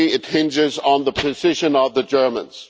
Mostly, it hinges on the position of the Germans.